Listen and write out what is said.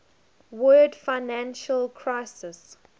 world financial crisis